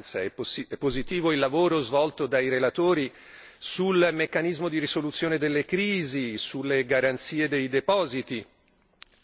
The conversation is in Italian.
È positiva la vigilanza, positivo il lavoro svolto dai relatori sul meccanismo di risoluzione delle crisi, sulle garanzie dei depositi,